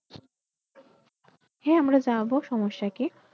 হ্যাঁ আমরা যাব সমস্যা কি?